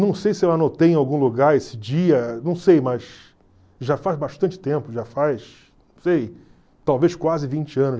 Não sei se eu anotei em algum lugar esse dia, não sei, mas já faz bastante tempo, já faz, não sei, talvez quase vinte anos.